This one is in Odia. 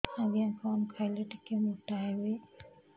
ଆଜ୍ଞା କଣ୍ ଖାଇଲେ ଟିକିଏ ମୋଟା ହେବି